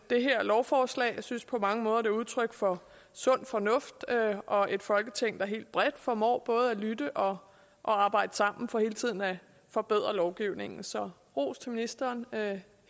det her lovforslag jeg synes det på mange måder er udtryk for sund fornuft og et folketing der helt bredt formår både at lytte og og arbejde sammen for hele tiden at forbedre lovgivningen så ros til ministeren